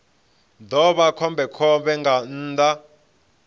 ḓo vha khombekhombe nga nnḓa